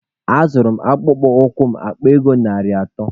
A zụrụ m akpụkpọ ụkwụ m akpa ego narị atọ.